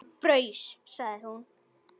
Hann fraus, sagði hún.